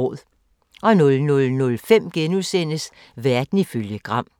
00:05: Verden ifølge Gram *